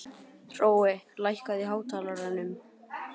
Hrói, lækkaðu í hátalaranum.